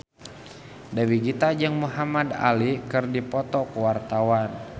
Dewi Gita jeung Muhamad Ali keur dipoto ku wartawan